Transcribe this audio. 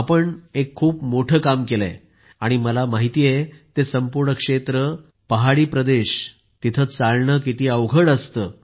आपण एक खूप मोठं काम केलं आहे आणि मला माहित आहे ते संपूर्ण क्षेत्र पहाडी प्रदेशात पायी चालणं किती अवघड आहे